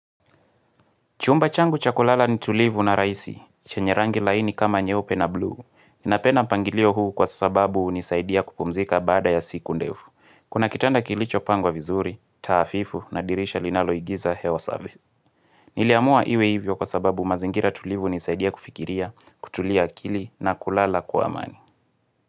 Chumba changu cha kulala ni tulivu na rahisi, chenye rangi laini kama nyeupe na blue. Ninapenda mpangilio huu kwa sababu hunisaidia kupumzika baada ya siku ndefu. Kuna kitanda kilichopangwa vizuri, taafifu na dirisha linaloigiza hewa safi. Niliamua iwe hivyo kwa sababu mazingira tulivu hunisaidia kufikiria, kutulia akili na kulala kwa amani.